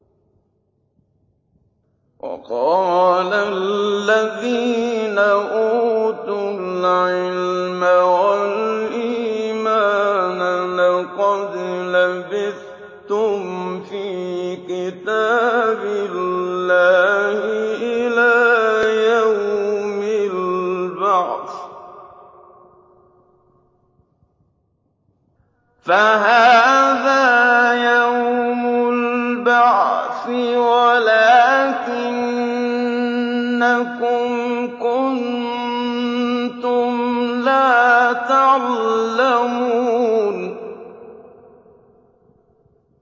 وَقَالَ الَّذِينَ أُوتُوا الْعِلْمَ وَالْإِيمَانَ لَقَدْ لَبِثْتُمْ فِي كِتَابِ اللَّهِ إِلَىٰ يَوْمِ الْبَعْثِ ۖ فَهَٰذَا يَوْمُ الْبَعْثِ وَلَٰكِنَّكُمْ كُنتُمْ لَا تَعْلَمُونَ